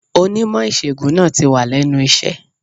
Onímò ìṣègùn náà tì wà lénu iṣé